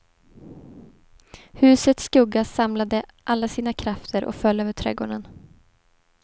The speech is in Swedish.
Husets skugga samlade alla sina krafter och föll över trädgården.